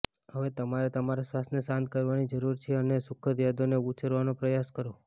હવે તમારે તમારા શ્વાસને શાંત કરવાની જરૂર છે અને સુખદ યાદોને ઉછેરવાનો પ્રયાસ કરો